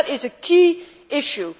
That is a key issue.